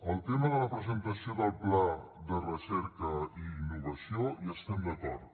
el tema de la presentació del pla de recerca i innovació hi estem d’acord